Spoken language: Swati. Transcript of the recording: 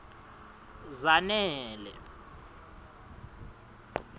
zanele